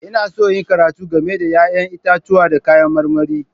Ina so in yi karatu game da 'ya'yan itatuwa da kayan marmari.